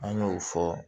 An y'o fɔ